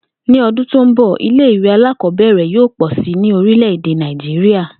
Ní o̩dún tó ń bò̩, ilé ìwé alákò̩ó̩bè̩rè̩ yóò pò̩ si ní orílè̩-èdè Nàìjíríà